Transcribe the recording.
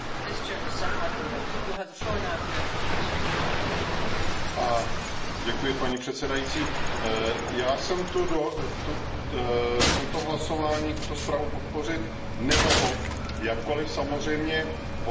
Paní předsedající, já jsem v tomto hlasování tuto zprávu podpořit nemohl, jakkoliv samozřejmě podporuji hodnocení implementace všech obchodních dohod